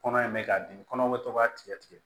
Kɔnɔ in mɛ k'a di kɔnɔ bɛ to ka tigɛ tigɛ